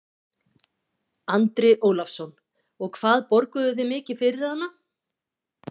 Andri Ólafsson: Og hvað borguðu þið mikið fyrir hana?